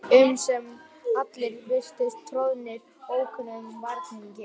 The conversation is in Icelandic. Stallurinn var hjúpaður reyk eftir flugelda.